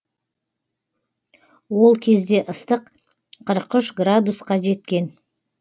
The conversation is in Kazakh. ол кезде ыстық қырық үш градусқа жеткен